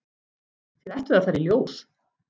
Þið ættuð að fara í ljós.